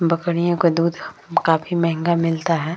बकरियों का दूध काफी महंगा मिलता है।